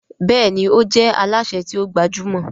Béèni o jé Alásè ti o gbajúmò.